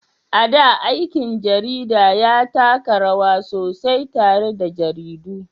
A da, aikin jarida ya taka rawa sosai tare da jaridu.